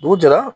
Dugu jɛra